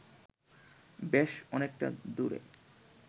বেশ অনেকটা দূরে